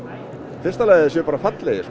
í fyrsta lagi að þeir séu bara fallegir